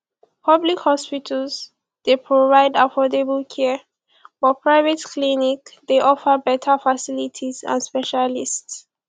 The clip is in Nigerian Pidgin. public hospitals dey provide affordable care but private clinics dey offer beta facilities and specialists